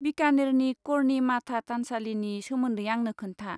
बीकानेरनि कर्णी माता थानसालिनि सोमोन्दै आंनो खोन्था।